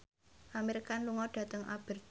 Amir Khan lunga dhateng Aberdeen